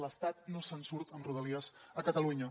l’estat no se’n surt amb rodalies a catalunya